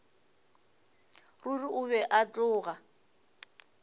ruri o be a tloga